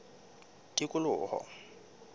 tikoloho